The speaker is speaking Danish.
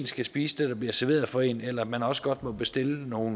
skal spise det der bliver serveret for en eller om man også godt må bestille noget